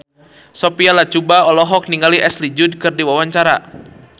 Sophia Latjuba olohok ningali Ashley Judd keur diwawancara